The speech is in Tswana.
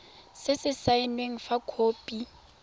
se se saenweng fa khopi